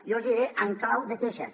jo els hi diré en clau de queixes